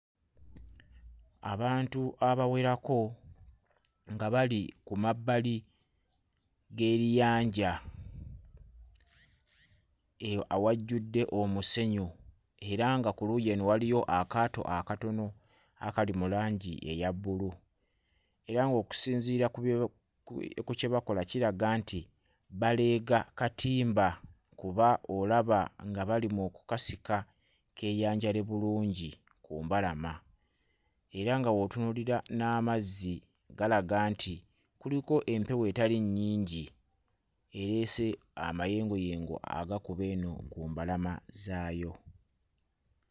Abantu abawerako nga bali ku mabbali g'eriyanja eyo awajjudde omusenyu era nga ku luuyi eno waliyo akaato akatono akali mu langi eya bbulu era ng'okisinziira ku bye ku kye bakola kiraga nti baleega katimba kuba olaba nga bali mu kkasika keeyanjule bulungi ku mbalama era nga bw'otunuulira n'amazzi galaga nti kuliko empewo etali nnyingi ereese amayengoyengo agakuba eno ku mbalama zaayo.